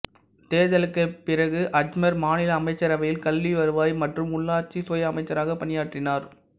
தேர்தலுக்குப் பிறகு அஜ்மீர் மாநில அமைச்சரவையில் கல்வி வருவாய் மற்றும் உள்ளாட்சி சுய அமைச்சராக பணியாற்றினார்